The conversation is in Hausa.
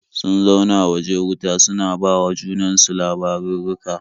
Sun zauna waje wuta suna ba wa junan su labarurruka.